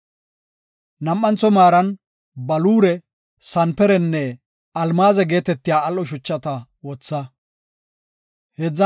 Nam7antho maaran baluure, sanperenne almaaze geetetiya al7o shuchata wotha. Huupheqacenne Tiran ma7etiya ma7o